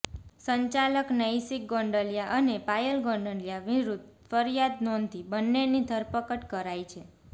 સંચાલક નૈશિક ગોંડલિયા અને પાયલ ગોંડલિયા વિરુદ્ધ ફરિયાદ નોંધી બંનેની ધરપકડ કરાઈ છે